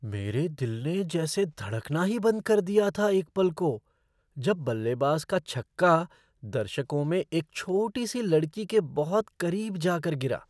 मेरे दिल ने जैसे धड़कना ही बंद कर दिया था एक पल को जब बल्लेबाज का छक्का दर्शकों में एक छोटी सी लड़की के बहुत करीब जा कर गिरा।